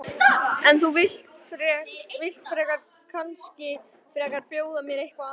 En þú vilt kannski frekar bjóða mér eitthvað annað?